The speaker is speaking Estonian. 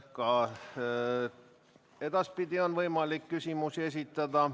Ka edaspidi on võimalik küsimusi esitada.